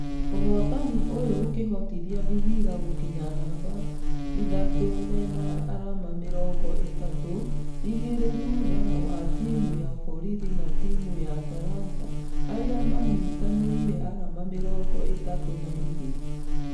Ũhotani ũyũ ũkĩhotithia vihiga gũkinya namba ithatũ mena arama mĩrongo ithatũ , igĩrĩ thutha wa timũ ya borithi na timũ ya talanta arĩa manyitanĩire arama mĩrongo ĩtatũ na igĩrĩ.